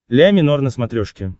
ля минор на смотрешке